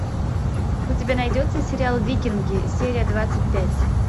у тебя найдется сериал викинги серия двадцать пять